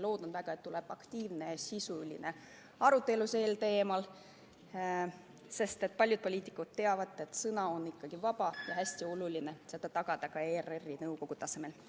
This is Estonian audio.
Loodan väga, et tuleb aktiivne ja sisuline arutelu sel teemal, sest paljud poliitikud teavad, et sõna on vaba ja hästi oluline on tagada see ka ERR-i nõukogu tasemel.